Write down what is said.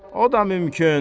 O da mümkün.